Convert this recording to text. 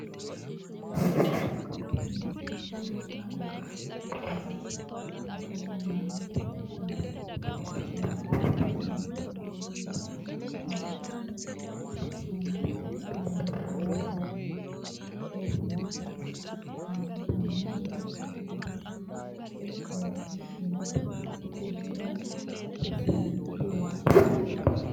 tini misile muronna laalo kultannote muronna laalote giddono timaattime laaltinowiinni haa'ne sayiinete aana worreenna nootanna dancha gede le'inota ikkitinohura baxissannote yaate